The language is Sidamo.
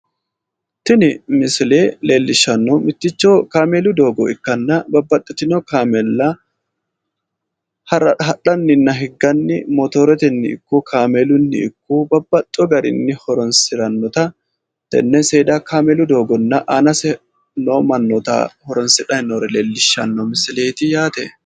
Tini misile leelishannohu mitticho kaamelu doogo ikkanna babbaxitino kaamella hadhaninna higganni motorettenni ikko kaamelunni ikko babbaxxewo garinni horonisidhanota tenne seeda kaamelu doogonna aanase noo mannoota horonisidhay noore leelishanno misileet yaate